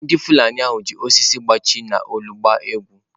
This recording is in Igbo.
Ndị Fulani ahụ ji osisi gbachie n’olu gbaa egwu.